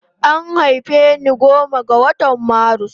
An haife ni goma ga watan marus